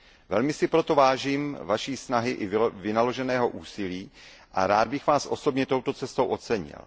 Velmi si proto vážím Vaší snahy i vynaloženého úsilí a rád bych Vás osobně touto cestou ocenil.